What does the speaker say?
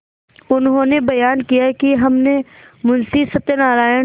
उन्होंने बयान किया कि हमने मुंशी सत्यनारायण